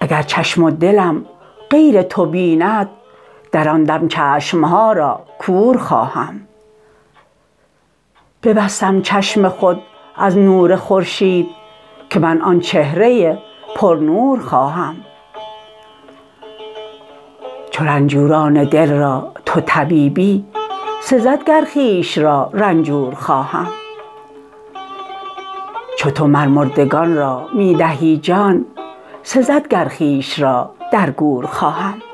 اگر چشم و دلم غیر تو بیند در آن دم چشم ها را کور خواهم ببستم چشم خود از نور خورشید که من آن چهره پرنور خواهم چو رنجوران دل را تو طبیبی سزد گر خویش را رنجور خواهم چو تو مر مردگان را می دهی جان سزد گر خویش را در گور خواهم